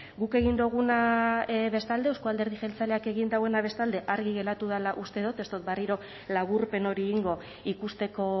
guk egin duguna bestalde euzko alderdi jeltzaleak egin duena bestalde argi geratu dala uste dot ez dot berriro laburpen hori egingo ikusteko